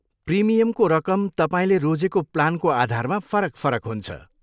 प्रिमियमको रकम तपाईँले रोजेको प्लानको आधारमा फरक फरक हुन्छ।